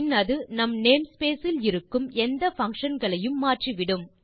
பின் அது நம் name space இல் இருக்கும் எந்தfunction களையும் மாற்றிவிடும்